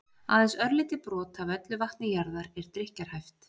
aðeins örlítið brot af öllu vatni jarðar er drykkjarhæft